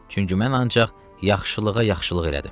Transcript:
Çünki mən ancaq yaxşılığa yaxşılıq elədim.